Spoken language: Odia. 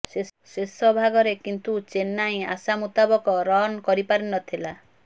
ଶେଷ ଭାଗରେ କିନ୍ତୁ ଚେନ୍ନାଇ ଆଶା ମୁତାବକ ରନ୍ କରିପାରିନଥିଲା